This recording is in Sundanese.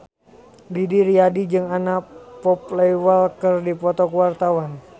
Didi Riyadi jeung Anna Popplewell keur dipoto ku wartawan